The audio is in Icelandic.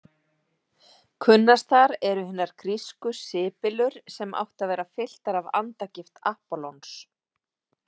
Kunnastar eru hinar grísku sibyllur sem áttu að vera fylltar af andagift Appollons.